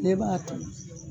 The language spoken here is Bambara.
tile b'a toli